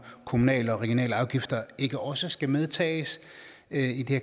kommunale og regionale afgifter ikke også skal medtages i det